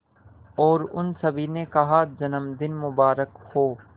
और उन सभी ने कहा जन्मदिन मुबारक हो